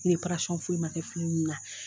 foyi ma kɛ fini ninnu na.